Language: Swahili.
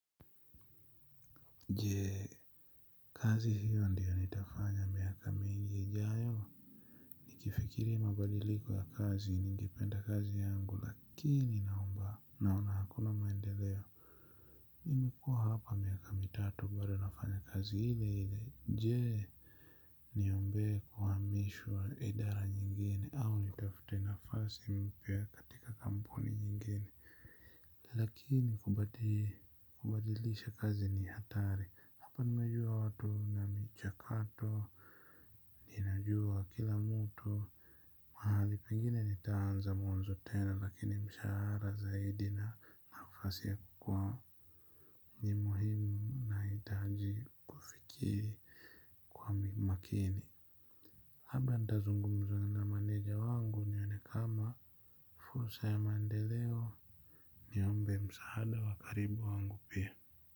Jee kazi hiyo ndiyo nitafanya miaka mingi ijayo nikifikiria mabadiliko ya kazi ningipenda kazi yangu lakini naomba naona hakuna maendeleo. Nimekua hapa miaka mitatu bada nafanya kazi ile ile jee niombe kuhamishwa idara nyingine au nitafute nafasi mpya katika kampuni nyingine. Lakini kubadilisha kazi ni hatari hapa nimejua watu na michakato. Ninajua kila mtu. Mahali pengine nitaanza mwanzo tena lakini mshahara zaidi na nafasi ya kukua ni muhimu nahitaji kufikiri kwa makini labda nitazungumza na manager wangu nione kama fursa ya mandeleo. Niombe msaada wa karibu wangu pia.